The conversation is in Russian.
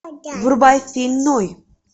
врубай фильм ной